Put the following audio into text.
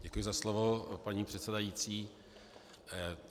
Děkuji za slovo, paní předsedající.